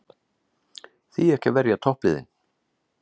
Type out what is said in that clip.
Því ekki að verja toppliðin?